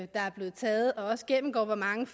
der er blevet taget og også gennemgår hvor mange